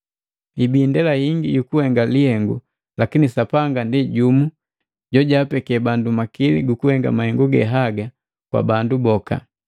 Hibi indela hingi yukuhenga lihengu lakini Sapanga ndi jumu jojapeke bandu makili gukuhenga mahengu ge haga kwa bandu boka.